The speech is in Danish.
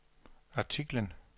artiklen